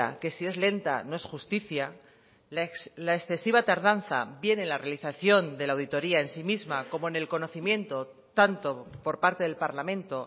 que si es lenta no es justicia la excesiva tardanza bien en la realización de la auditoría en sí misma como en el conocimiento tanto por parte del parlamento